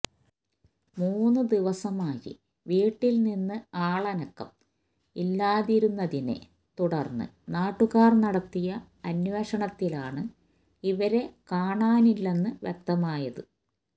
മൂന്ന് ദിവസമായി വീട്ടില് നിന്ന് ആളനക്കം ഇല്ലാതിരുന്നതിനെ തുടര്ന്ന് നാട്ടുകാര് നടത്തിയ അന്വേഷണത്തിലാണു ഇവരെ കാണാനില്ലെന്നു വ്യക്തമായത്